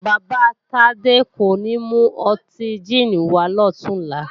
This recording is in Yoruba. Bàbá Tádé kò ní mú ọtí jíìnì wàá lọ̀túnla